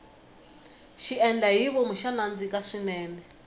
xiendlahivom xa nandzika swinene